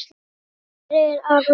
Sonur þeirra er Aron Logi.